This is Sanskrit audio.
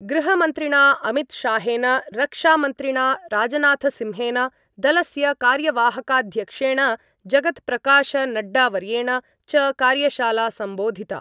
गृहमन्त्रिणा अमितशाहेन, रक्षामन्त्रिणा राजनाथसिंहेन, दलस्य कार्यवाहकाध्यक्षेण जगत्प्रकाशनड्डावर्येण च कार्यशाला सम्बोधिता।